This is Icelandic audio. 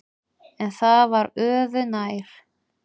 En það var öðu nær.